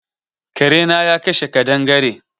Kare na ya kashe kaɗangare.